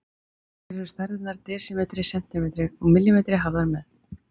Hér eru stærðirnar desimetri, sentimetri og millimetri hafðar með.